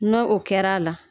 No o kɛra a la